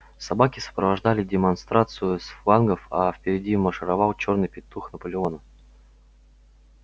собаки сопровождали демонстрацию с флангов а впереди маршировал чёрный петух наполеона